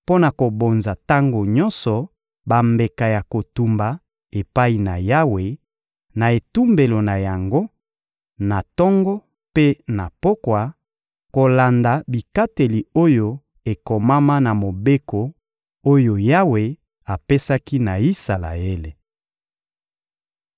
mpo na kobonza tango nyonso bambeka ya kotumba epai na Yawe, na etumbelo na yango, na tongo mpe na pokwa, kolanda bikateli oyo ekomama na mobeko oyo Yawe apesaki na Isalaele.